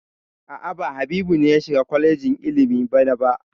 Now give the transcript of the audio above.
A'a, ba Habu ne ya shiga kwalejin ilimi bana ba.